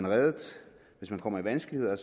reddet hvis man kommer i vanskeligheder